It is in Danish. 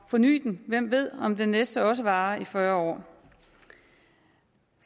forny den hvem ved om den næste også varer i fyrre år